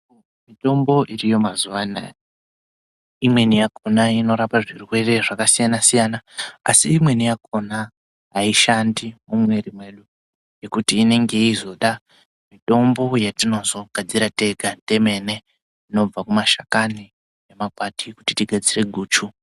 Mitombo iriyo mazuva anaya, imweni yakhona inorapa zvirwere zvakasiyana-siyana, asi imweni yakhona haishandi mumwiri mwedu ngekuti inenge yeizoda mitombo yetinozogadzira tega temene inobve kumashakani nemakwati kuti tigadzire guchu.